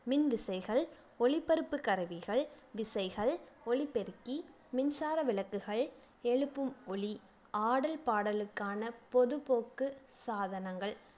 மின்விசைகள் ஒலிபரப்பு கருவிகள் திசைகள் ஒலிபெருக்கி மின்சார விளக்குகள் எழுப்பும் ஒலி ஆடல் பாடலுக்கான பொதுபோக்கு சாதனங்கள்